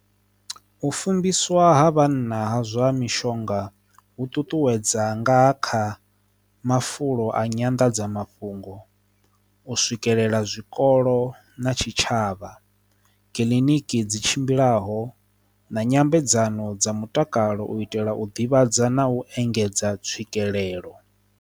U fumbiswa ha vhanna ha zwa mishonga hu ṱuṱuwedza nga kha mafulo a nyanḓadzamafhungo u swikelela zwikona olo na tshitshavha kiḽiniki dzi tshimbilaho na nyambedzano dza mutakalo u itela u ḓivhadza na u engedza tswikelelo.